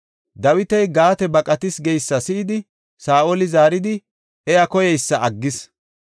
Dawiti Gaate baqatis geysa si7idi, Saa7oli zaaridi iya koyeysa aggis.